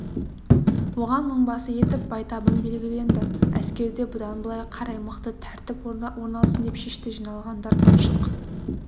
оған мыңбасы етіп байтабын белгіленді әскерде бұдан былай қарай мықты тәртіп орналсын деп шешті жиналғандар шық